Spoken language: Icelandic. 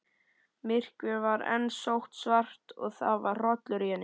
Myrkrið var enn sótsvart og það var hrollur í henni.